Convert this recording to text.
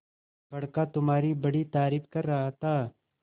बड़का तुम्हारी बड़ी तारीफ कर रहा था